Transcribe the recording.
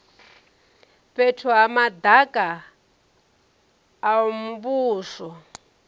fhethu ha madaka a muvhuso